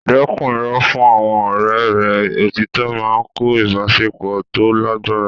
Dẹ́kun irọ́ fún àwọn ọ̀rẹ́ rẹ; Òtítọ́ máa ń kọ́ ìbáṣepọ̀ tó lágbára.